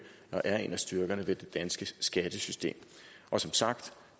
er en af styrkerne ved det danske skattesystem og som sagt